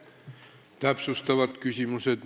Täpsustavad küsimused.